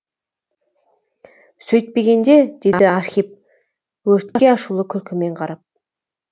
сөйтпегенде деді архип өртке ашулы күлкімен қарап